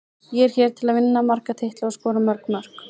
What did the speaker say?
Ég er hér til að vinna marga titla og skora mörg mörk.